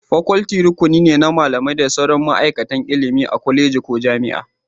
Faculty rukuni ne na malamai da sauran ma'aikatan ilimi a kwaleji ko jami'a